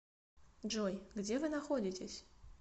джой где вы находитесь